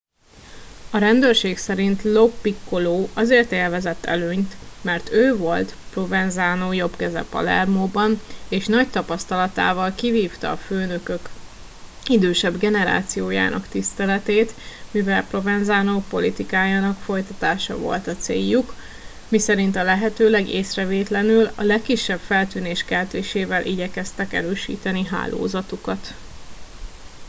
a rendőrség szerint lo piccolo azért élvezett előnyt mert ő volt provenzano jobbkeze palermóban és nagy tapasztalatával kivívta a főnökök idősebb generációjának tiszteletét mivel provenzano politikájának folytatása volt a céljuk miszerint a lehetőleg észrevétlenül a legkisebb feltűnés keltésével igyekeztek erősíteni hálózatukat